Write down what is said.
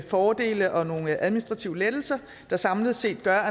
fordele og nogle administrative lettelser der samlet set gør